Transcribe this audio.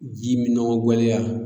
Ji minɔgɔ gwɛlɛya